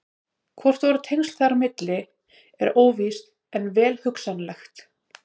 Hvort tengsl eru þar á milli er óvíst en vel hugsanlegt.